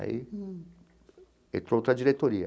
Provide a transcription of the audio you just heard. Aí entrou outra diretoria.